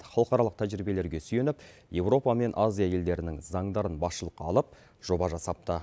халықаралық тәжірибелерге сүйеніп еуропа мен азия елдерінің заңдарын басшылыққа алып жоба жасапты